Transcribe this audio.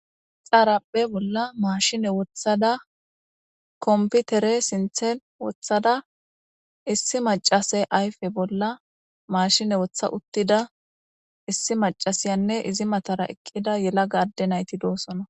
xaarapphe bolla maashine wothada komputere sinththen wothada issi macase ayfe bolla maashine woththa uttida issi macasiyanne izi matara eqqida yelaga adde nayti doosona.